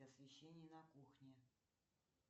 освещение на кухне